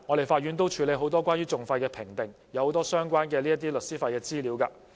法院每天處理很多關於訟費的評定，又有很多相關的律師費資料。